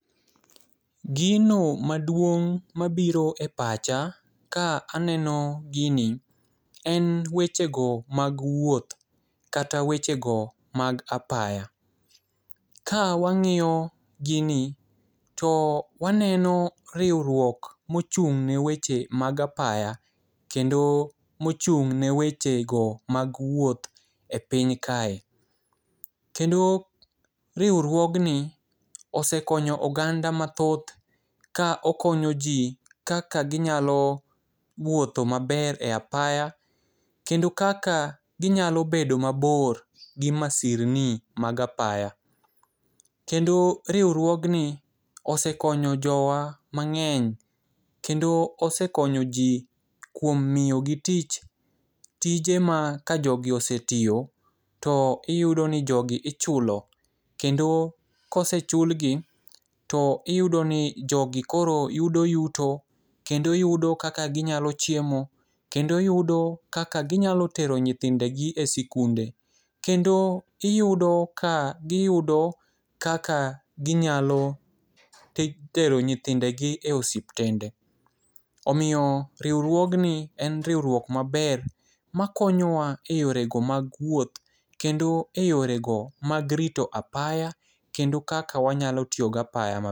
Gino maduong' mabiro e pacha ka aneno gini en wechego mag wuoth kata wechego mag apaya. Ka wang'iyo gini to waneno riwruok mochung' ne weche go mag apaya kendo mochung' ne wechego ma wuoth e piny kae. Kendo riwruogni osekonyo oganda mathoth ka okonyo ji kaka ginyalo wuotho maber e apaya kendo kaka ginyalo bedo mabor gi masirni mag apaya. kendo riwruogni osekonyo jowa mang'eny kendo osekonyo ji kuom miyogi tich, tije ma kajogi osetiyo to iyudo i jogi ichulo kendo ka osechulgi to iyudo ni jogi koro yudo yuto kendo yudo kaka ginyalo chiemo kendo yudo kaka ginyalo tero nyithinde e sikunde. Kendo giyudo kaka ginyalo tero nyithindegi e osiptende. Omiyo riwruogni en riwruok maber makonyowa eyorego mag wuoth kendo eyorego mag rito apaya kendo kaka wanyalo tiyo gapaya maber.